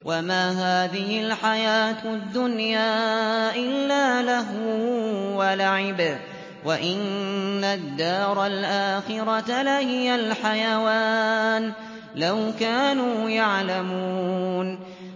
وَمَا هَٰذِهِ الْحَيَاةُ الدُّنْيَا إِلَّا لَهْوٌ وَلَعِبٌ ۚ وَإِنَّ الدَّارَ الْآخِرَةَ لَهِيَ الْحَيَوَانُ ۚ لَوْ كَانُوا يَعْلَمُونَ